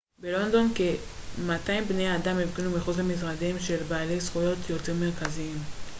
בלונדון כ-200 בני אדם הפגינו מחוץ למשרדיהם של בעלי זכויות יוצרים מרכזיים